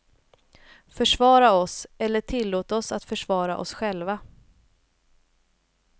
Försvara oss, eller tillåt oss att försvara oss själva.